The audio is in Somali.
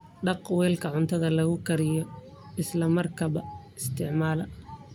Dhaq weelka cuntada lagu kariyo isla markaaba isticmaal.